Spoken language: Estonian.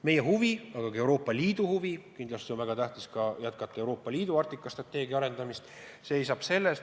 Meie huvi, aga ka kogu Euroopa Liidu huvi on kindlasti jätkata Euroopa Liidu Arktika-strateegia arendamist.